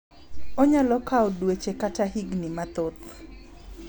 Onyalo kawo dueche kata higni mathoth.